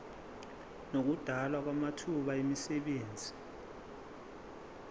nokudalwa kwamathuba emisebenzi